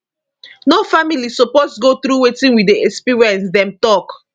no family suppose go through wetin we dey experience dem tok